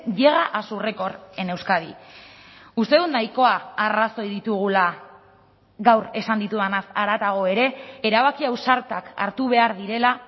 llega a su récord en euskadi uste dut nahikoa arrazoi ditugula gaur esan ditudanaz haratago ere erabaki ausartak hartu behar direla